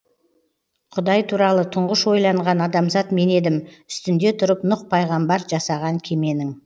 құдай туралы тұңғыш ойланған адамзат мен едім үстінде тұрып нұқ пайғамбар жасаған кеменің